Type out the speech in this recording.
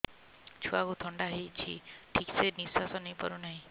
ଛୁଆକୁ ଥଣ୍ଡା ହେଇଛି ଠିକ ସେ ନିଶ୍ୱାସ ନେଇ ପାରୁ ନାହିଁ